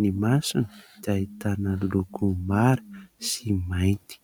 Ny masony dia ahitana loko mara sy mainty.